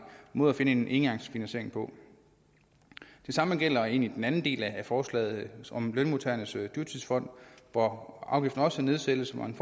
måde at finde en engangsfinansiering på det samme gælder egentlig den anden del af forslaget om lønmodtagernes dyrtidsfond hvor afgiften også nedsættes man